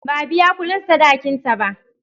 Ba a biya kudin sadakin ta ba.